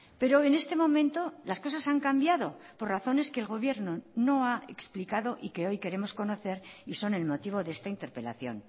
pero en este momento las cosas han cambiado por razones que el gobierno no ha explicado y que hoy queremos conocer y son el motivo de esta interpelación